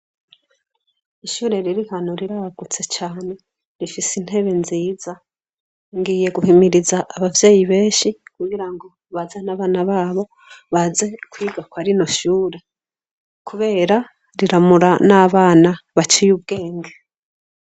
Ishure ririhano riragutse rifise intebe nziza, ngiye guhimiriza abavyeyi benshi kugira ngo bazane abana babo baze kwiga kwarino shure kubera riramura nabana baciye ubwenge.